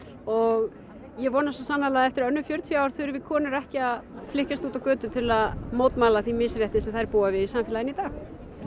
og ég vona svo sannarlega að eftir önnur fjörutíu ár þurfi konur ekki að flykkjast út á götur til þess að mótmæla því misrétti sem þær búa við í samfélaginu í dag